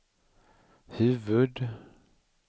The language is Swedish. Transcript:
huvud-